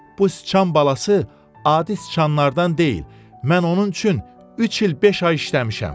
Bu sıçan balası adi sıçanlardan deyil, mən onun üçün üç il beş ay işləmişəm.